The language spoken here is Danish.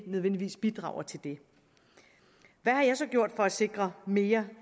nødvendigvis bidrager til det hvad har jeg så gjort for at sikre mere